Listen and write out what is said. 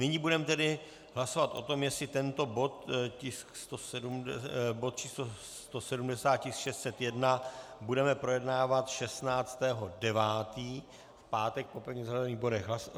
Nyní budeme tedy hlasovat o tom, jestli tento bod číslo 170, tisk 601, budeme projednávat 16. 9. v pátek po pevně zařazených bodech.